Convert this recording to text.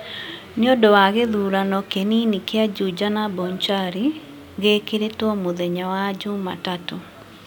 nĩ ũndũ wa gĩthurano kĩnini kĩa Juja na Bonchari, gĩkĩrĩtwo mũthenya wa jumatatũ.